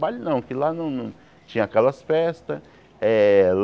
Baile não, que lá não não tinha aquelas festas. Eh